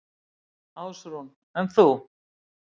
Ásrún: En þú?